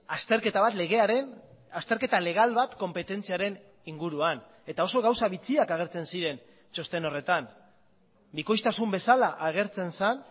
azterketa bat legearen azterketa legal bat konpetentziaren inguruan eta oso gauza bitxiak agertzen ziren txosten horretan bikoiztasun bezala agertzen zen